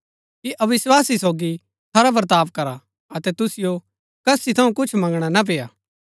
कि अविस्वासी सोगी खरा बर्ताव करा अतै तुसिओ कसी थऊँ कुछ मँगणा ना पेय्आ